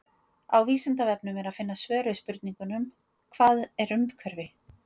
Á Vísindavefnum er að finna svör við spurningunum Hvað er umhverfi?